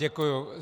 Děkuji.